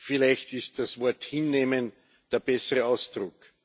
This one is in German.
Vielleicht ist das Wort hinnehmen der bessere Ausdruck.